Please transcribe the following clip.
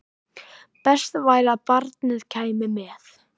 Best væri að barnið kæmi með.